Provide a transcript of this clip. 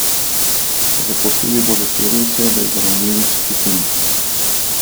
Zaposlili bodo štiri osebe iz ranljivih skupin.